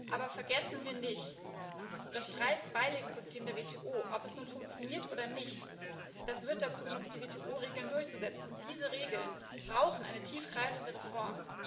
Aber vergessen wir nicht Das Streitbeilegungssystem der WTO ob es nun funktioniert oder nicht wird dazu genutzt, die WTO Regeln durchzusetzen, und diese Regeln brauchen eine tief greifende Reform.